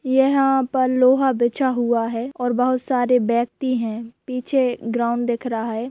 यहाँ पर लोहा बिछा हुआ है और बहुत सारे व्यक्ति हैं पीछे ग्राउन्ड दिख रहा है।